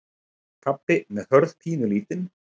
Pabbi með Hörð pínulítinn.